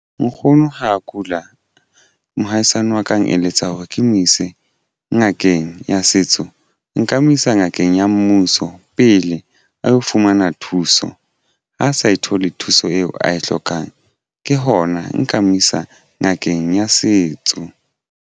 Nkgono ha kula mohaisane wa ka a eneletsa hore ke mo ise ngakeng ya setso nka mo isa ngakeng ya mmuso pele a lo fumana thuso ha a sa e thole thuso eo a e hlokang ke hona nka mo isa ngakeng ya setso.